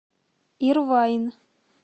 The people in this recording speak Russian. ирвайн